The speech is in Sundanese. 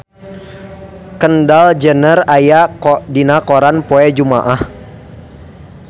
Kendall Jenner aya dina koran poe Jumaah